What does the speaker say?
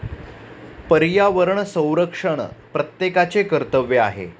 पर्यावरण संरक्षण प्रत्येकाचे कर्तव्य आहे.